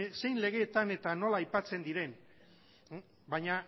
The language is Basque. zein legeetan eta nola aipatzen diren baina